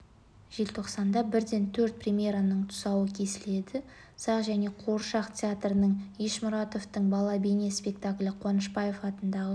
желтоқсанда бірден төрт премьераның тұсауы кесіледі сағ және қуыршақ театрында ешмұратовтың бала бейне спектаклі қуанышбаев атындағы